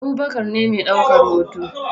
Abubakar ne mai daukan hoto